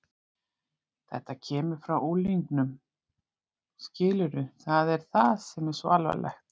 Þetta kemur frá unglingunum, skilurðu, það er það sem er svo alvarlegt.